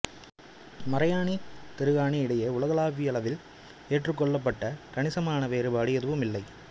மரையாணி திருகாணி இடையே உலகளாவியளவில் ஏற்றுக்கொள்ளப்பட்ட கணிசமான வேறுபாடு எதுவும் இல்லை